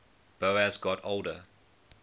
boas got older